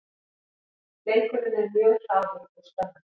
Leikurinn er mjög hraður og spennandi